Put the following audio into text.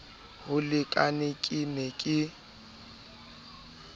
ho lekane ke ne ke